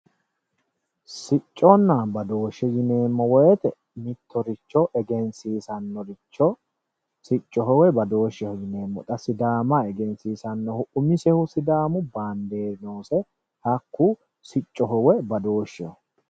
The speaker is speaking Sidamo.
Sicconna badooshe yineemmo woyte mittoricho egensiisanoricho siccoho woyi badoosheho yineemmo sidaama egensiisanohu umisehu sidaamu banderi noose hakku siccoho woyi badoosheho.